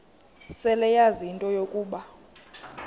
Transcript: seleyazi into yokuba